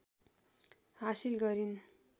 हासिल गरिन्